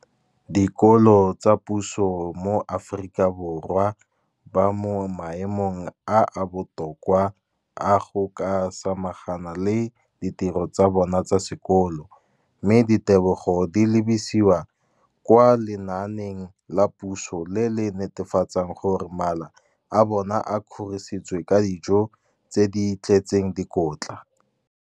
dikolo tsa puso mo Aforika Borwa ba mo maemong a a botoka a go ka samagana le ditiro tsa bona tsa sekolo, mme ditebogo di lebisiwa kwa lenaaneng la puso le le netefatsang gore mala a bona a kgorisitswe ka dijo tse di tletseng dikotla.